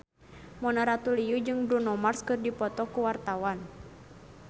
Mona Ratuliu jeung Bruno Mars keur dipoto ku wartawan